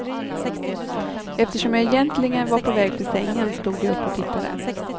Eftersom jag egentligen var på väg till sängen stod jag upp och tittade.